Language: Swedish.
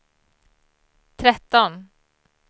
tretton